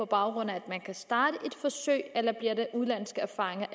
baggrund af at man kan starte et forsøg eller bliver det udenlandske erfaringer